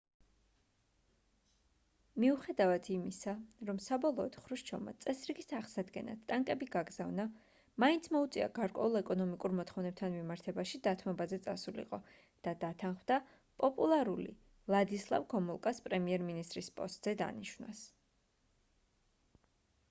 მიუხედავად იმისა რომ საბოლოოდ ხრუშჩოვმა წესრიგის აღსადგენად ტანკები გაგზავნა მაინც მოუწია გარკვეულ ეკონომიკურ მოთხოვნებთან მიმართებაში დათმობაზე წასულიყო და დათანხმდა პოპულარული ვლადისლავ გომულკას პრემიერ მინისტრის პოსტზე დანიშვნას